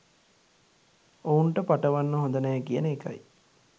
ඔවුන්ට පටවන්න හොඳ නෑ කියන එකයි